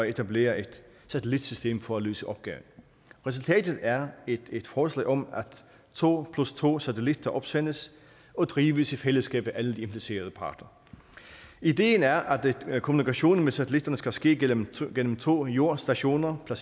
etablere et satellitsystem for at løse opgaven resultatet er et et forslag om at to plus to satellitter opsendes og drives i fællesskab af alle de implicerede parter ideen er at kommunikationen med satellitterne skal ske igennem to jordstationer der